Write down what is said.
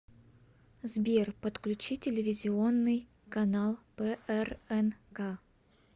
сбер подключи телевизионный канал прнк